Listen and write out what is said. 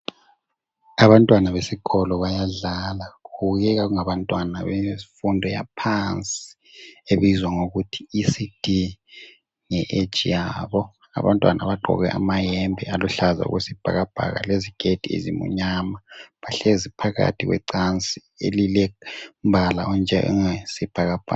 Abantwana besikolo bayadlala. Kubukeka kungabantwana bemfundo yaphansi ebizwa ngokuthi ECD nge age yabo. Abantwana bagqoke amayembe aluhlaza okwesibhakabhaka leziketi ezimnyama. Bahlezi phakathi kwecansi elilombala onjengowesibhakabhaka.